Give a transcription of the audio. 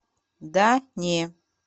да не